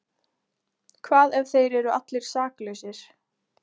Hvað ef þeir eru allir saklausir?